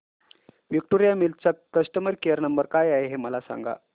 Victoria Mills चा customer care number काय आहे हे मला सांगा